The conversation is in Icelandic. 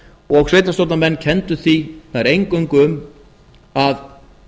og sveitarstjórnarmenn kenndu því nær eingöngu um að